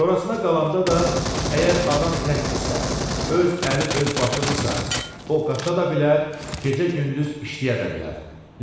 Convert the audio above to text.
Sonrasına qalanda da, əgər adam təkdirsə, öz əli öz başıdırsa, o qaça da bilər, gecə-gündüz işləyə də bilər.